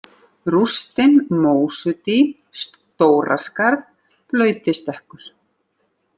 Rústin, Mósudý, Stóraskarð, Blautistekkur